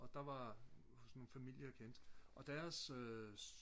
og der var sådan nogle familier jeg kendte og deres øh